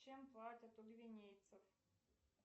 чем платят у гвинейцев